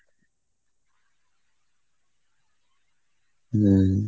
হম